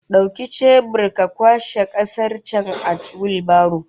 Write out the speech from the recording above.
Dauki chebur ka kwashe kasar can a wheelbarrow